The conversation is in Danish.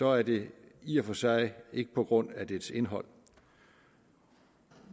er det i og for sig ikke på grund af dets indhold